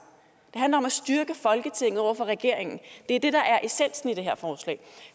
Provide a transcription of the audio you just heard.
handler om at styrke folketinget over for regeringen det er det der er essensen i det her forslag